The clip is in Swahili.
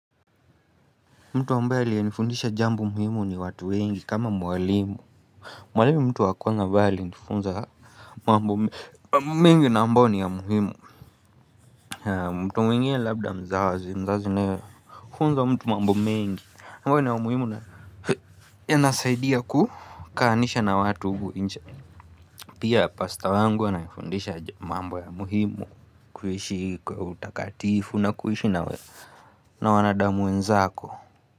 Mtu ambaye aliyenifundisha jambo muhimu ni watu wengi kama mwalimu. Mwalimu ni mtu wa kwanza ambaye alinifunza mambo mengi na ambao ni ya muhimu. Mtu mwengine labda mzazi mzazi naye. Hufunza mtu mambo mengi na ambao ni ya muhimu na yanasaidia kukaanisha na watu huku inche. Pia pasta wangu ananifundisha mambo ya muhimu kuishi kwa utakatifu na kuishi na wanadamu wenzako.